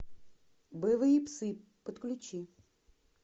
боевые псы подключи